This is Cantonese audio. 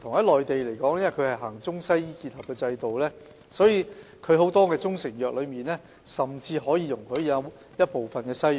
內地實行中西醫結合制度，所以很多中成藥甚至容許含有西藥成分。